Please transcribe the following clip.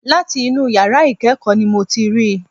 Láti inú yàrá ìkẹ́kọ̀ọ́ n mo ti ríi.